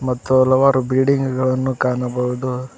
ಮತ್ತು ಹಲವಾರು ಬಿಡಿಂಗ ಗಳನ್ನು ಕಾಣಬಹುದು.